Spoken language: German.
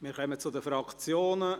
Wir kommen zu den Fraktionen;